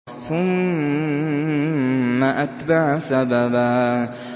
ثُمَّ أَتْبَعَ سَبَبًا